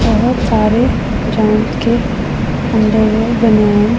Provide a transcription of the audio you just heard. बहोत सारे चांद के अंदर में--